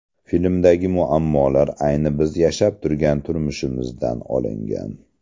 Filmdagi muammolar ayni biz yashab turgan turmushimizdan olingan.